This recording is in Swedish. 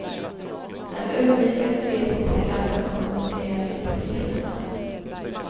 Han undviker att se på programmen och koncentrerar sig på siffrorna.